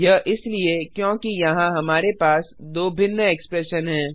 यह इसलिए क्योंकि यहाँ हमारे पास दो भिन्न एक्सप्रेशन हैं